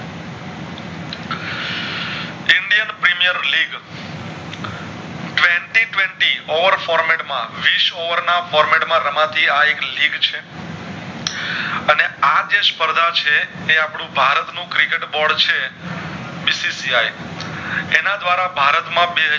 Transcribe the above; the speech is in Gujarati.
ઔર format માં વિસ over ના format માં રમાતી આ એક link છે અને આજે સ્પેર્ધા છે એ આપણું ભારત નું Cricket Board છે bcci એના દ્વારા ભારત માં